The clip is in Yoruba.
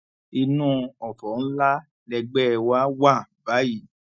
inú ọfọ ńlá lẹgbẹ wa wà báyìí